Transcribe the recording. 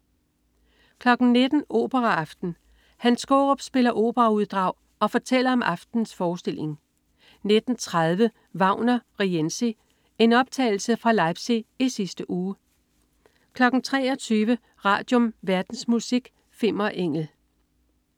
19.00 Operaaften. Hans Skaarup spiller operauddrag og fortæller om aftenens forestilling 19.30 Wagner: Rienzi. En optagelse fra Leipzig i sidste uge 23.00 Radium. Verdensmusik. Fimmer Engel